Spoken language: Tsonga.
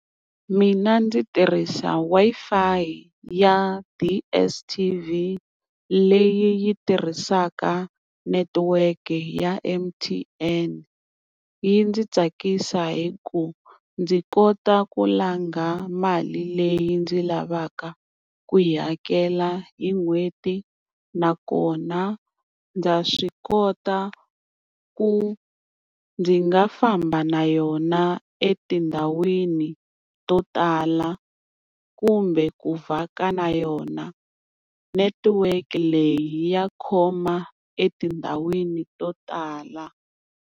Mina ndzi tirhisa Wi-Fi ya ti DSTV leyi yi tirhisaka netiweke ya M_T_N. Yi ndzi tsakisa hi ku ndzi kota ku langa mali leyi ndzi lavaka ku yi hakela hi n'hweti. Nakona ndza swi kota ku ndzi nga famba na yona etindhawini to tala kumbe ku vhaka na yona, netiweke leyi ya khoma etindhawini to tala.